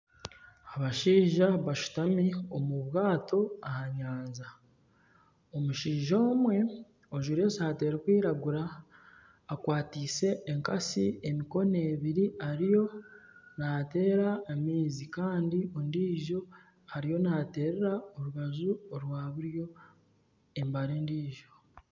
Abashija bashatu omu bwaato aha nyanja. Omushaija omwe ajwire esati erikwiragura akwatiise enkatsi emikono ebiri ariyo nateera amaizi Kandi ondijo ariyo nateerera orubaju rwa buryo embari endijo.